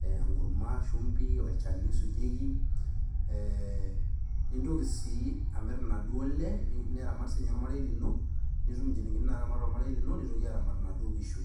enkurma ,shumbi ,olchani oisujieki . Ee nintoki sii inaduoo lle ,niramat sinye ormarei lino, nitum nchilingini naramat ormarei lino nitoki aramat inaduoo kishu.